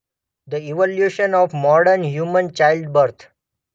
The evolution of modern human childbirth.